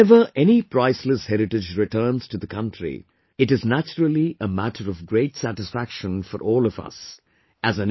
Whenever any priceless heritage returns to the country, it is naturally a matter of great satisfaction for all of us...